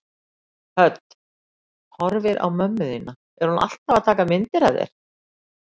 Hödd: Horfir á mömmu þína, er hún alltaf að taka myndir af þér?